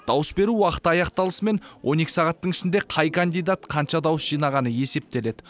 дауыс беру уақыты аяқталысымен он екі сағаттың ішінде қай кандидат қанша дауыс жинағаны есептеледі